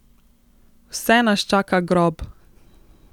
Vse nas čaka grob!